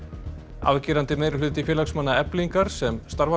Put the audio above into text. afgerandi meirihluti félagsmanna Eflingar sem starfar á